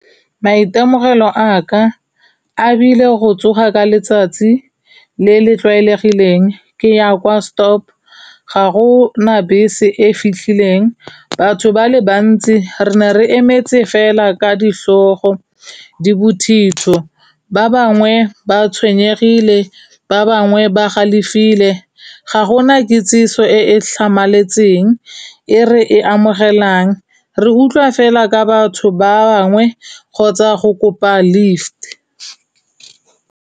Maitemogelo a ka, a bile go tsoga ka letsatsi le le tlwaelegileng ke ya kwa stop. Ga go na bese e fitlhileng, batho ba le bantsi re ne re emetse fela ka ditlhogo di bothitho, ba bangwe ba tshwenyegile, ba bangwe ba galefile. Ga gona kitsiso e e tlhamaletseng, e re e amogelang, re utlwa fela ka batho ba bangwe kgotsa go kopa lift.